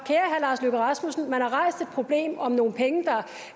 lars løkke rasmussen venstre har rejst et problem om nogle penge der